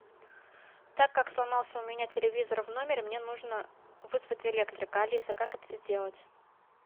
так как сломался у меня телевизор в номере мне нужно вызвать электрика алиса как это сделать